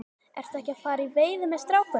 Ertu ekki að fara í veiði með strákunum?